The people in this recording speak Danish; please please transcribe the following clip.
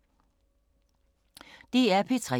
DR P3